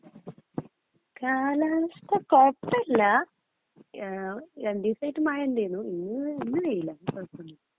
കാലാവസ്ഥ കുഴപ്പല്ലാ ങ്ഹാ രണ്ടീസായിട്ട് മഴ ഇണ്ടായിന് ഇന്ന് ഇന്നു വെയിലാ കുഴപ്പമില്ല